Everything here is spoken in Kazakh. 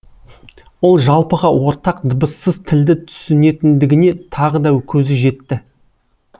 ол жалпыға ортақ дыбыссыз тілді түсінетіндігіне тағы да көзі жетті